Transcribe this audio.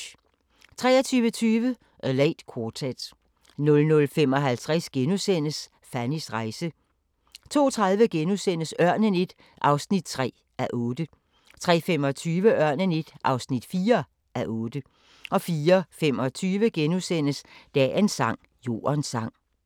23:20: A Late Quartet 00:55: Fannys rejse * 02:30: Ørnen I (3:8)* 03:25: Ørnen I (4:8) 04:25: Dagens sang: Jordens sang *